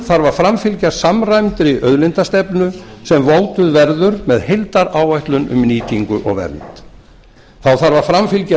þarf að framfylgja samræmdri auðlindastefnu enn mótuð verður með heildaráætlun um nýtingu og vernd þá þarf að framfylgja